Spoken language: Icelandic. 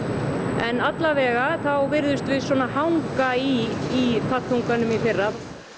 en þá virðumst við svona hanga í í fallþunganum í fyrra